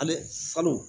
Ale falo